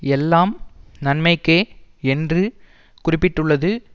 எல்லாம் நன்மைக்கே என்று குறிப்பிட்டுள்ளது